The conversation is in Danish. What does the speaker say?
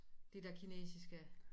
Det der kinesiske